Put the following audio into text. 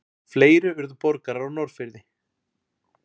Fleiri urðu borgarar á Norðfirði.